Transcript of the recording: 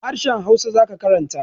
Harahen hausa zaka karanta